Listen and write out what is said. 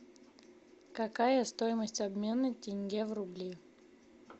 какая стоимость обмена тенге в рубли